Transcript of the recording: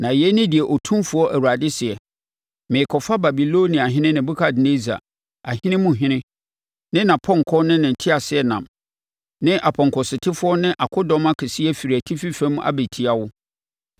“Na yei ne deɛ Otumfoɔ Awurade seɛ: Merekɔfa Babiloniahene Nebukadnessar, ahene mu hene, ne ne apɔnkɔ ne nteaseɛnam, ne apɔnkɔsotefoɔ ne akodɔm kɛseɛ afiri atifi fam abɛtia wo.